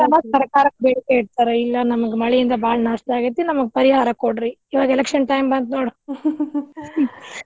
ಸರ್ಕಾರಕ್ಕ್ ಬೇಡಿಕೆ ಇಡ್ತಾರ ಇಲ್ಲಾ ನಮ್ಗ ಮಳಿಯಿಂದ ಬಾಳ ನಷ್ಟ ಆಗೇತಿ. ನಮ್ಗ ಪರಿಹಾರ ಕೊಡ್ರಿ ಇವಾಗ election time ಬಂತ್ ನೋಡ್.